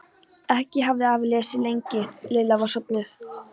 Ekki hafði afi lesið lengi þegar Lilla var sofnuð.